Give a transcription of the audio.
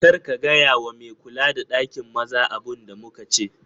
Kar ka gaya wa ma me kula da ɗakin maza abun da muka ce